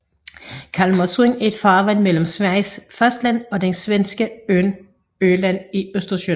Kalmarsund er et farvand mellem Sveriges fastland og den svenske ø Öland i Østersøen